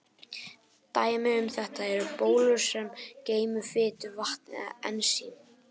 Dæmi um þetta eru bólur sem geyma fitu, vatn eða ensím.